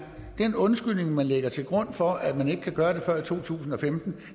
den undskyldning man lægger til grund for at man ikke kan gøre det før i to tusind og femten